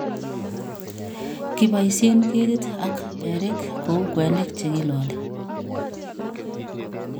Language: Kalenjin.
kibaisyen ketit ak berik kou kwenik che kilaali